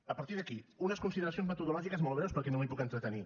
a partir d’aquí unes consideracions metodològiques molt breus perquè no m’hi puc entretenir